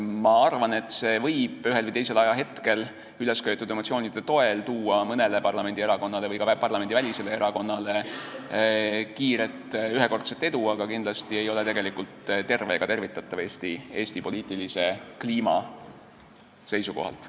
Ma arvan, et see võib ühel või teisel hetkel ülesköetud emotsioonide toel tuua mõnele parlamendierakonnale või ka parlamendivälisele erakonnale kiiret ühekordset edu, aga kindlasti ei ole see tegelikult tervislik ega tervitatav Eesti poliitilise kliima seisukohalt.